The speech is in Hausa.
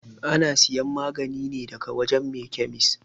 Ana siyan magani ne daga wajan mai kyamis